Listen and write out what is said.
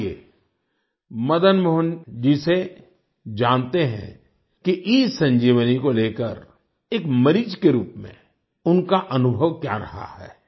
आइये मदन मोहन जी से जानते हैं कि ईसंजीवनी को लेकर एक मरीज के रूप में उनका अनुभव क्या रहा है